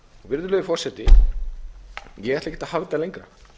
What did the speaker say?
virðulegi forseti ég ætla ekkert að hafa þetta lengra